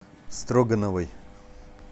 строгановой